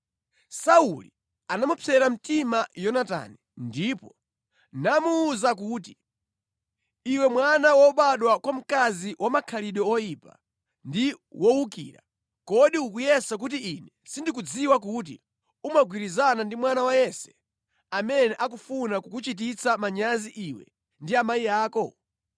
Sauli anamupsera mtima Yonatani ndipo namuwuza kuti, “Iwe mwana wobadwa mwa mkazi wamakhalidwe oyipa ndi wowukira! Kodi ukuyesa kuti ine sindikudziwa kuti umagwirizana ndi mwana wa Yese, amene akufuna kukuchititsa manyazi iwe ndi amayi ako?